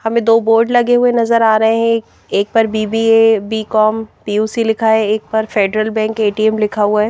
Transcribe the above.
हमें दो बोर्ड लगे हुए नजर आ रहे हैं एक पर बी_बी_ए बीकॉम पी_यू_सी लिखा है एक पर फेडरल बैंक ए_टी_एम लिखा हुआ है।